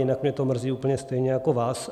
Jinak mě to mrzí úplně stejně jako vás.